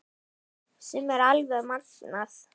Sem er alveg magnað.